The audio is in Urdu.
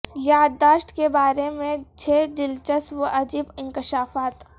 یادداشت کے بارے میں چھ دلچسپ و عجیب انکشافات